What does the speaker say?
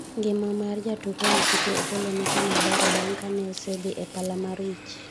ngima mar jatuk hull city Opollo nikama ber bang' kane osedhi e pala mar wich